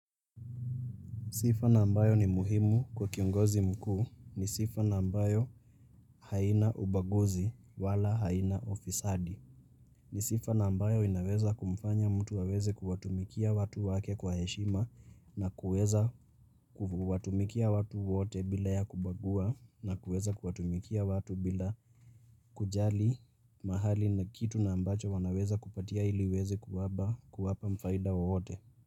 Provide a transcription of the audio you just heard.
Sifa na ambayo ni muhimu kwa kiongozi mkuu ni sifa na ambayo haina ubaguzi wala haina ufisadi. Ni sifa na ambayo inaweza kumfanya mtu waweze kuwatumikia watu wake kwa heshima na kuweza kuwatumikia watu wote bila ya kubagua na kuweza kuwatumikia watu bila kujali mahali na kitu na ambacho wanaweza kupatia iliweze kuwapa mfaida wote.